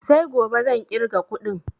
Sai gobe zan ƙirga kuɗin